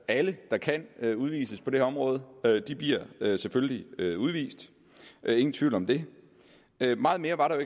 alle der kan udvises på det her område selvfølgelig bliver udvist ingen tvivl om det meget mere var der